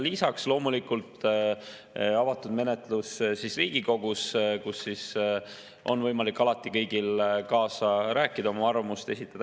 Lisaks loomulikult avatud menetlus Riigikogus, kus on võimalik alati kõigil kaasa rääkida ja oma arvamust esitada.